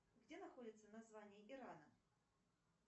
где находится название ирана